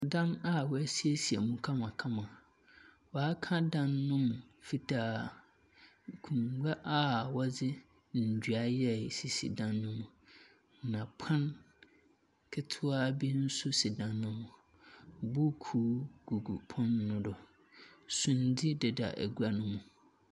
Dan a woesiesie mu kamakama. Wɔaka dan no mu fitaa. Akonnwa a wɔde ndua yɛe sisi dan mu. Na pon ketsewa bi so si dan no mu. Buukuu gugu pon no do. Sundze deda agua no mu.